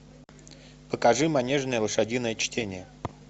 покажи манежное лошадиное чтение